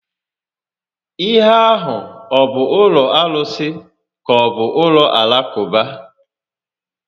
Ihe a hụ ọ bụ ụlọ arụsi ka-ọbụ ụlọ Alakụba?